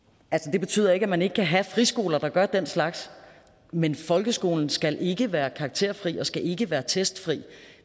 det betyder ikke at man ikke kan have friskoler der gør den slags men folkeskolen skal ikke være karakterfri og skal ikke være testfri